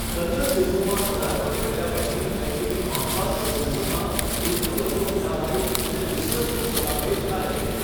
કન્નડ ફિલ્મોમાં પદાર્પણ કર્યા પછી, તેણીની નોંધપાત્ર ફિલ્મોમાં 'થુલ્લુવધો ઇલામાઇ' અને 'વ્હિસલ' નો સમાવેશ થાય છે.